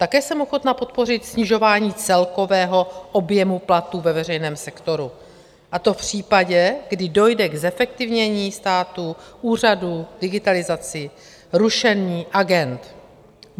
Také jsem ochotna podpořit snižování celkového objemu platů ve veřejném sektoru, a to v případě, kdy dojde k zefektivnění státu, úřadů, digitalizaci, rušení agend.